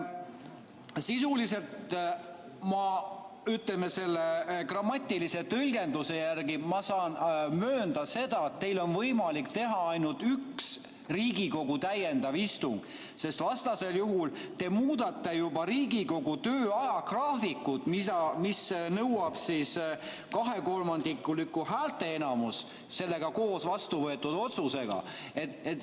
Sisuliselt ma selle grammatilise tõlgenduse järgi saan möönda seda, et teil on võimalik teha ainult üks Riigikogu täiendav istung, sest vastasel juhul te muudate juba Riigikogu töö ajagraafikut, mis nõuab kahekolmandikulist häälteenamust.